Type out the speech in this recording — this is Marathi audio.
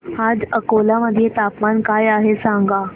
आज अकोला मध्ये तापमान काय आहे सांगा